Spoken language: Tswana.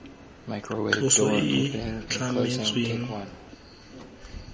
tloso e e tlametsweng mo